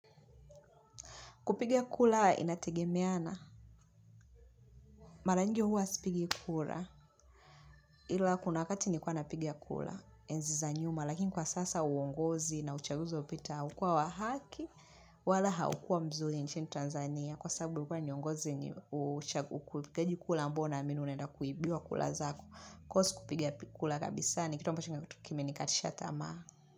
Kupigia kula inategemeana. Mara nyingi huwa sipigi kula. Kura kuna wakati nilikuwa napiga kura. Enzi za nyuma. Lakini kwa sasa uongozi na uchaguzi hupita. Ukiwa wa haki. Wala haukua mzuri nchini Tanzania. Kwa sababu kwa ni uongozi wenye ni uchaguzi kulikeji kuu ambao unaamini unenda kuibiwa kula zako. Kwa hiyo si kupiga kula kabisa. Kitu ambachokimenikatisha tamaa.